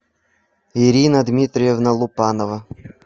ирина дмитриевна лупанова